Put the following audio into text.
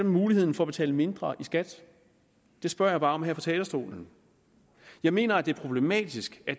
muligheden for at betale mindre i skat det spørger jeg bare om her fra talerstolen jeg mener at det er problematisk at